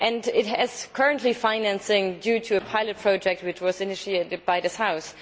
It currently has financing due to a pilot project which was initiated by this House.